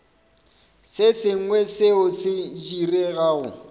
se sengwe seo se diregago